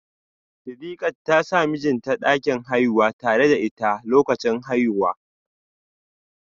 Sidiqat ta sa mijinta a dakin haihuwa tare da ita lokacin haihuwa